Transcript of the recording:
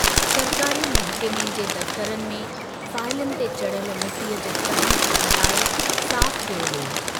सरकारी महकमे जे दफ्तरनि में फाईलनि ते चढ़ियल मिटीअ जे तहनि खे हटाए साफ़ कयो वियो।